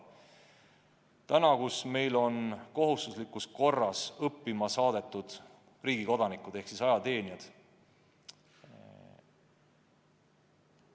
Praegu on meil väeüksustes kohustuslikus korras teenistusse saadetud riigi kodanikud ehk siis ajateenijad.